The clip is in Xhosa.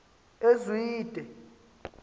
ezwide